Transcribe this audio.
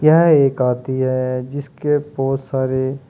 यह एक हाथी है जिसके बहोत सारे --